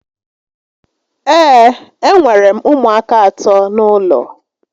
Ee, e nwèrè m ụmụaka àtọ́ n'ụlọ